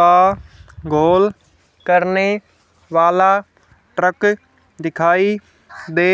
का गोल करने वाला ट्रक दिखाई दे